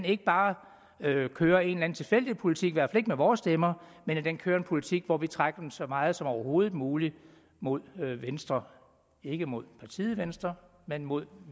ikke bare kører en tilfældig politik i hvert fald ikke med vores stemmer men at den kører en politik hvor vi vil trække dem så meget som overhovedet muligt mod venstre ikke mod partiet venstre men mod